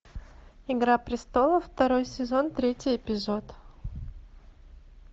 игра престолов второй сезон третий эпизод